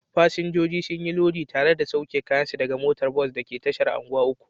Fasinjoji sun yi lodi tare da sauke kayansu daga motar bas da ke tashar unguwa uku.